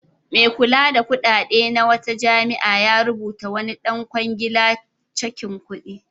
Mai kula da kuɗaɗe na wata jami'a ya rubutawa wani ɗan kwangila cakin kuɗi.